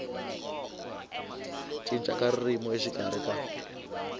cinca ka ririmi exikarhi ka